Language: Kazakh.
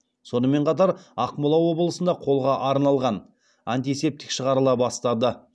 сонымен қатар ақмола облысында қолға арналған антисептик шығарыла бастады